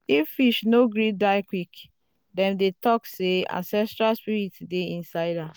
if fish no gree die quick dem go talk say ancestral spirit dey inside am.